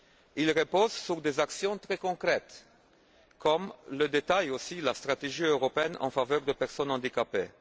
Il repose sur des actions très concrètes comme le détaille aussi la stratégie européenne en faveur des personnes handicapées.